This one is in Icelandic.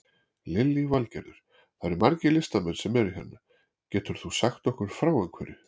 Lillý Valgerður: Það eru margir listamenn sem eru hérna, getur þú sagt okkur frá einhverju?